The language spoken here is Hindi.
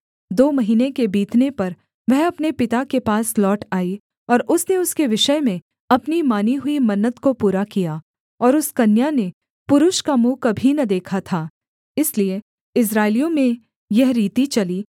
दो महीने के बीतने पर वह अपने पिता के पास लौट आई और उसने उसके विषय में अपनी मानी हुई मन्नत को पूरा किया और उस कन्या ने पुरुष का मुँह कभी न देखा था इसलिए इस्राएलियों में यह रीति चली